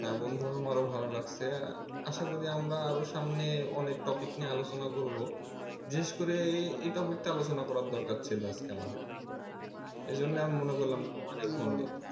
হ্যা বন্ধু আমারও ভালো লাগছে আশা করি আমরা আরো সামনে অনেক topic নিয়ে আলোচনা করবো বিশেষ করে এই topic টা আলোচনা করার দরকার ছিল আজকে আমাদেরকে এইজন্যই আমি মনে করলাম যে আগে phone দেই